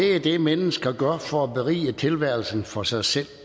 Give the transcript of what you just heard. er det mennesker gør for at berige tilværelsen for sig selv